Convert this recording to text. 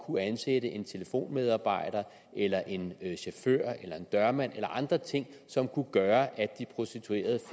kunne ansætte en telefonmedarbejder eller en chauffør eller en dørmand eller andre ting som kunne gøre at de prostituerede